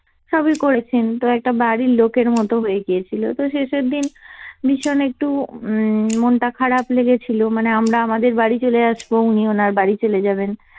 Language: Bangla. সবই করেছেন, তো একটা বাড়ির লোকের মত হয়ে গিয়েছিল তো শেষের দিন ভীষণ একটু উম মনটা খারাপ লেগেছিল, মানে আমরা আমাদের বাড়ি চলে আসব উনি ওনার বাড়ি চলে যাবেন।